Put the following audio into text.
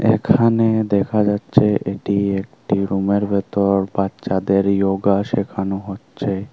এখানে দেখা যাচ্ছে এটি একটি রুমের ভেতর বাচ্চাদের য়োগা শেখানো হচ্ছে।